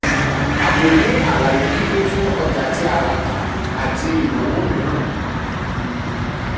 a kò ní àlàyé kíkún fún ọjà tí a rà tà àti ìnáwó mìíràn.